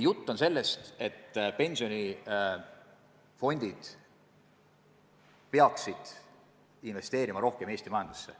On räägitud, et pensionifondid peaksid investeerima rohkem Eesti majandusse.